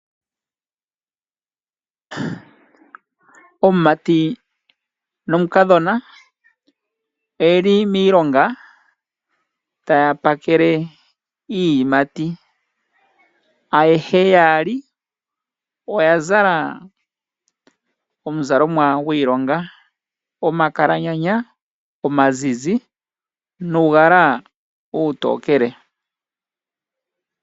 Omumati nomukadhona oyeli miilonga taya pakele iiyimati ayehe yaali oyazala omuzalo gwiilonga, omakalanyanya omazizi nuugala uutookele.